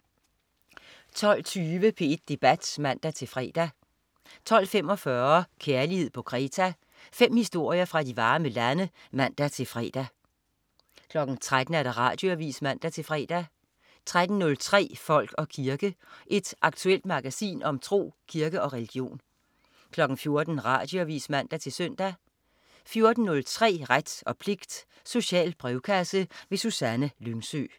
12.20 P1 Debat (man-fre) 12.45 Kærlighed på Kreta. Fem historier fra de varme lande (man-fre) 13.00 Radioavis (man-fre) 13.03 Folk og kirke. Et aktuelt magasin om tro, kirke og religion 14.00 Radioavis (man-søn) 14.03 Ret og pligt. Social brevkasse. Susanne Lyngsø